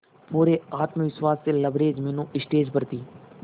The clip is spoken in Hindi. पूरे आत्मविश्वास से लबरेज मीनू स्टेज पर थी